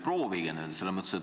Proovige nüüd!